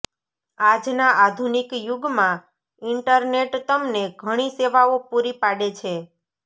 આજ ના આધુનિક યુગ મા ઈન્ટરનેટ તમને ઘણી સેવાઓ પુરી પાડે છે